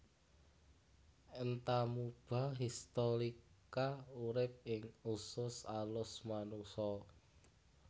Entamuba histolytica urip ing usus alus manungsa